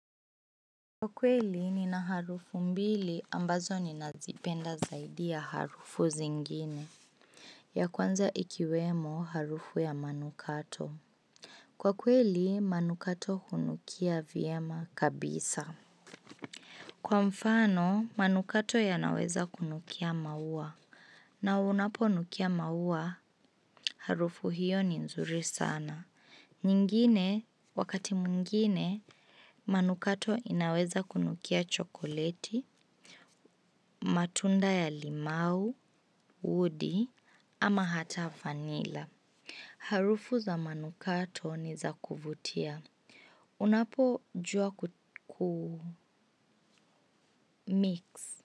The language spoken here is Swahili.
Kwa kweli ni na harufu mbili ambazo ninazipenda zaidi ya harufu zingine. Ya kwanza ikiwemo harufu ya manukato. Kwa kweli manukato hunukia viema kabisa. Kwa mfano manukato yanaweza kunukia maua. Na unapo nukia maua harufu hiyo ni nzuri sana. Nyingine wakati mungine manukato inaweza kunukia chokoleti, matunda ya limau, uudi ama hata fanila. Harufu za manukato ni za kuvutia. Unapo jua kumix.